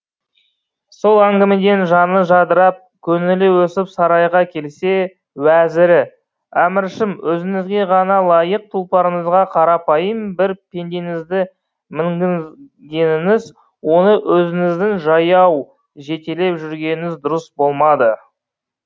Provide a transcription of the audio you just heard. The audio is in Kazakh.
сол әңгімеден жаны жадырап көңілі өсіп сарайға келсе уәзірі әміршім өзіңізге ғана лайық тұлпарыңызға қарапайым бір пендеңізді мінгізгеніңіз оны өзіңіздің жаяу жетелеп жүргеніңіз дұрыс болмады